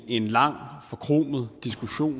en lang forkromet diskussion